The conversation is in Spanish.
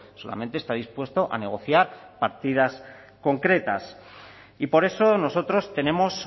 solamente está dispuesto a negociar partidas concretas y por eso nosotros tenemos